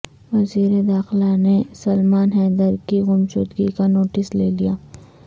وزیر داخلہ نے سلمان حیدر کی گمشدگی کا نوٹس لے لیا